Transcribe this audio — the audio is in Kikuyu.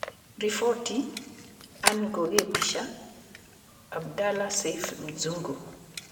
Riboti: Anne Ngugi mbica: Abdalla Seif Dzungu.